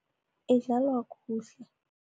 Idlalwa kuhle.